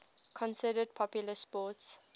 considered popular sports